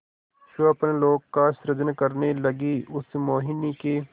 स्वप्नलोक का सृजन करने लगीउस मोहिनी के